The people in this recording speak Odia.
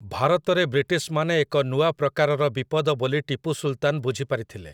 ଭାରତରେ ବ୍ରିଟିଶମାନେ ଏକ ନୂଆ ପ୍ରକାରର ବିପଦ ବୋଲି ଟିପୁ ସୁଲତାନ୍ ବୁଝିପାରିଥିଲେ ।